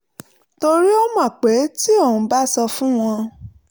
torí ó mọ̀ pé tí òun bá sọ fún wọn